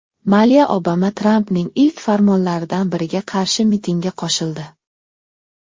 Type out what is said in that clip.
Maliya Obama Trampning ilk farmonlaridan biriga qarshi mitingga qo‘shildi.